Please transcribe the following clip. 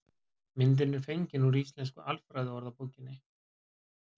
Myndin er fengin úr Íslensku alfræðiorðabókinni.